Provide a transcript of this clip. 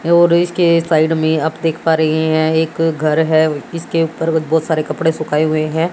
है और इसके साइड में आप देख पा रहे हैं एक घर है इसके ऊपर बहोत सारे कपड़े सुखाए हुए है।